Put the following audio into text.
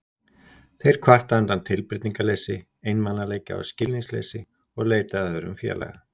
Þeir kvarta undan tilbreytingarleysi, einmanaleika og skilningsleysi og leita að öðrum félaga.